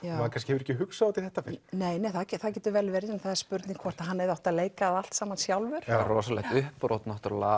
hefur kannski ekki hugsað út í þetta fyrr nei það getur vel verið en það er spurning hvort hann hefði átt að leika það allt saman sjálfur rosalegt uppbrot